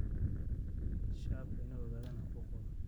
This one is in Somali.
Shacabku waa inay ogaadaan xuquuqdooda.